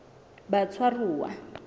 batshwaruwa